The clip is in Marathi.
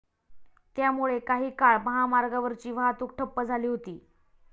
त्यामुळे काही काळ महामार्गावरची वाहतूक ठप्प झाली होती.